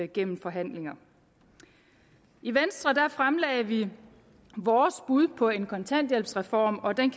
gennem forhandlinger i venstre fremlagde vi vores bud på en kontanthjælpsreform og